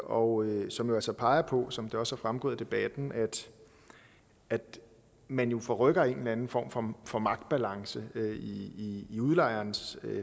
og som altså peger på som det også er fremgået af debatten at man forrykker en eller anden form form for magtbalance i i udlejerens